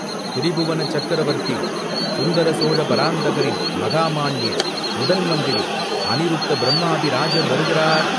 "திரிபுவன சக்கரவர்த்தி சுந்தரசோழ பராந்தகரின் மகாமான்ய முதன் மந்திரி அநிருத்தப் பிரம்மாதி ராஜர் வருகிறார்!